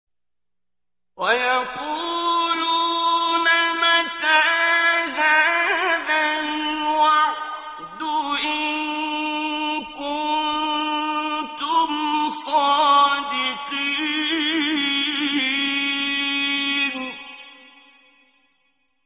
وَيَقُولُونَ مَتَىٰ هَٰذَا الْوَعْدُ إِن كُنتُمْ صَادِقِينَ